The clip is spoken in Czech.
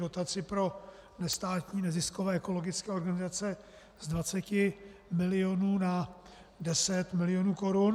dotaci pro nestátní neziskové ekologické organizace z 20 milionů na 10 milionů korun.